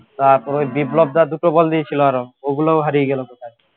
তারপরও এই বিপ্লবদা দুটো বল দিয়েছিল আরো ওগুলোও হারিয়ে গেল